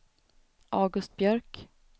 August Björk